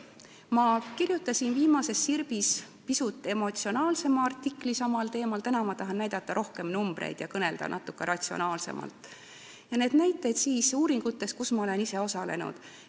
Ma kirjutasin viimases Sirbis pisut emotsionaalsema artikli samal teemal, täna tahan ma näidata rohkem arve, kõnelda natuke ratsionaalsemalt ning tuua näiteid uuringute kohta, mille tegemises ma olen ise osalenud.